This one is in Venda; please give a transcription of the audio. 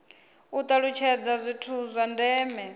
u talutshedza zwithu zwa ndeme